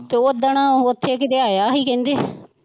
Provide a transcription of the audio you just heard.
ਤੇ ਓਦਣ ਉੱਥੇ ਕਿਤੇ ਆਇਆ ਸੀ ਕਹਿੰਦੇ